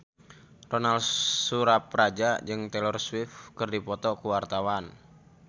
Ronal Surapradja jeung Taylor Swift keur dipoto ku wartawan